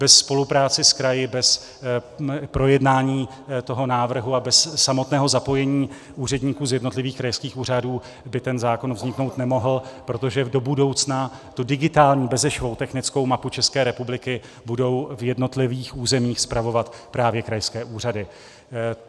Bez spolupráce s kraji, bez projednání toho návrhu a bez samotného zapojení úředníků z jednotlivých krajských úřadů by ten zákon vzniknout nemohl, protože do budoucna tu digitální bezešvou technickou mapu České republiky budou v jednotlivých územích spravovat právě krajské úřady.